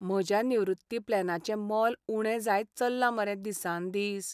म्हज्या निवृत्ती प्लॅनाचें मोल उणें जायत चल्लां मरे दिसान दीस.